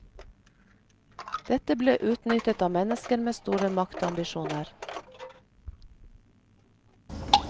Dette ble utnyttet av mennesker med store maktambisjoner.